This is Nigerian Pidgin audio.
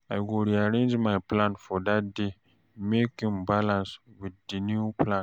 I go rearrange my plan for dat day mek im balance wit di new plan